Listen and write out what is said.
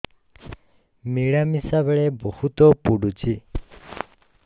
ମିଳାମିଶା ବେଳେ ବହୁତ ପୁଡୁଚି